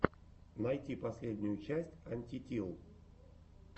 найти последнюю часть антитил